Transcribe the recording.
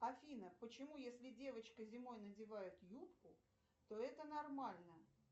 афина почему если девочка зимой надевает юбку то это нормально